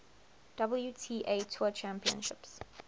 wta tour championships